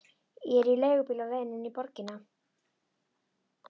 Ég er í leigubíl á leiðinni inn í borgina.